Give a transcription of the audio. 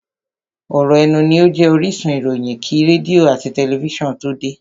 ọ̀ rọ̀ ẹnu ní ó jẹ́ orísun ìròyìn kí rédíò àti tẹlifísàn tó de.